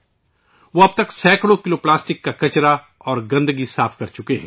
وہ اب تک سینکڑوں کلو پلاسٹک کا کچرا اور گندگی صاف کر چکے ہیں